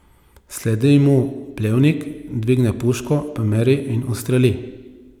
Sledi mu Plevnik, dvigne puško, pomeri in ustreli.